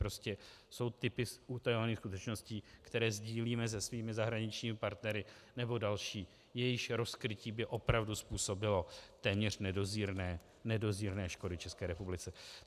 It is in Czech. Prostě jsou typy utajovaných skutečností, které sdílíme se svými zahraničními partnery, nebo další, jejichž rozkrytí by opravdu způsobilo téměř nedozírné škody České republice.